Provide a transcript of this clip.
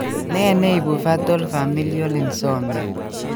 Ne neibu fatal familial insomia